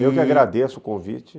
Eu que agradeço o convite.